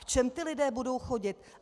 V čem ti lidé budou chodit?